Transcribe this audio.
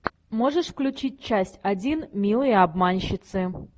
можешь включить часть один милые обманщицы